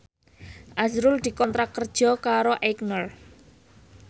azrul dikontrak kerja karo Aigner